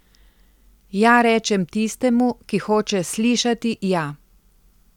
Ja rečem tistemu, ki hoče slišati ja.